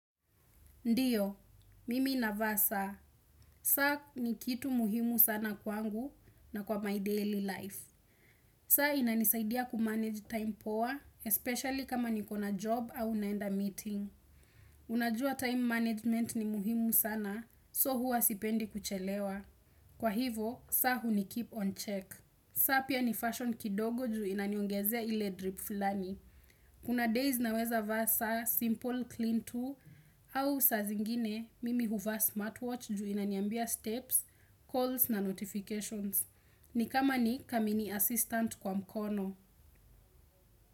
Ndiyo, mimi navaa saa, saa ni kitu muhimu sana kwangu na kwa my daily life. Saa inanisaidia kumanage time poa, especially kama nikona job au naenda meeting. Unajua time management ni muhimu sana, so hua sipendi kuchelewa. Kwa hivo, saa hunikeep on check. Saa pia ni fashion kidogo juu inaniongezea ile drip fulani. Kuna days naweza vaa saa, simple, clean too, au saa zingine, mimi huvaa smartwatch juu inaniambia steps, calls na notifications. Ni kama ni kamini assistant kwa mkono.